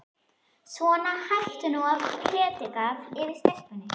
Svona, hættu nú að predika yfir stelpunni.